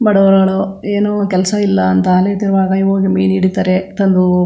ಬಡವಳಲು ಏನು ಕೆಲ್ಸ್ ಇಲ್ಲಾ ಅಂತ ಅಲಿತಿರುವಾಗ ಹೋಗಿ ಮೀನ್ ಹಿಡಿತರೆ ಎತ್ತಲು --